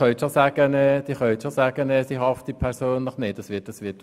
Sie können schon sagen, diese würden nicht persönlich haften.